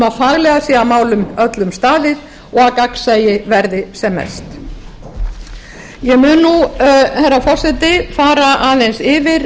að faglega sé að málum öllum staðið og gagnsæi verði sem mest ég mun nú herra forseti fara aðeins yfir